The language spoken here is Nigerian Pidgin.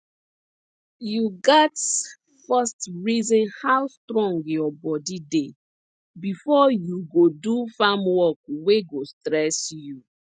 you gats first reason how strong your body dey before you go do farm work wey go stress you